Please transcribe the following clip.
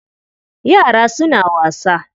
Yara suna wasa.